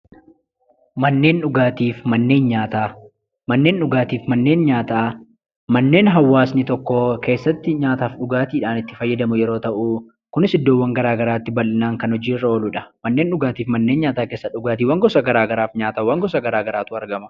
Manneen dhugaatii fi manneen nyaataa. Manneen dhugaatii mannen nyaataa mannen hawasni tokko keessatti nyaataafi dhugaatidhaan itti faayadamuu yeroo ta'u, kunis iddoowwan gara garatti hojii irra kan oluudha. Mannen dhugaatifi nyaataa keessatti dhugattiwaan gosa gara garaafi nyaataawwaan gosa gara garaatu argama.